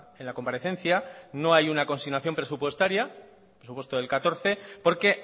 en la comparecencia no hay una consignación presupuestaria presupuesto del catorce porque